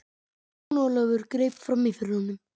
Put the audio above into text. Jón Ólafur greip framí fyrir honum.